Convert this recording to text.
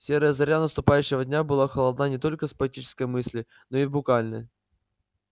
серая заря наступающего дня была холодна не только в поэтическом смысле но и в буквальном